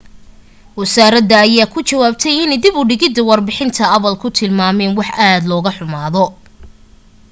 wasaarada ayaa ku jawaabtay inay dib u digidda warbixinta apple ku tilmaamaan wax aad loga xumaado